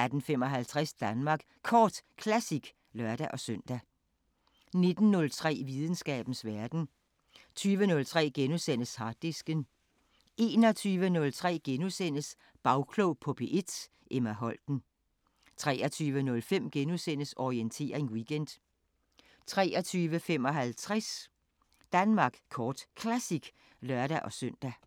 18:55: Danmark Kort Classic (lør-søn) 19:03: Videnskabens Verden 20:03: Harddisken * 21:03: Bagklog på P1: Emma Holten * 23:05: Orientering Weekend * 23:55: Danmark Kort Classic (lør-søn)